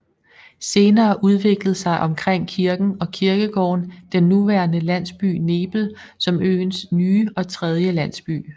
Senere udviklede sig omkring kirken og kirkegården den nuværende landsby Nebel som øens nye og tredje landsby